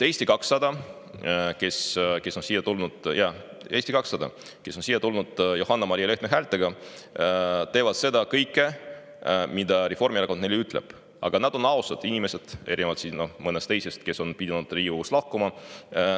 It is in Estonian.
Eesti 200, kes on siia – jaa, Eesti 200 – Johanna-Maria Lehtme häältega, teeb kõike, mida Reformierakond neile ütleb, aga nad on ausad inimesed, erinevalt mõnest teisest, kes on pidanud Riigikogust lahkuma.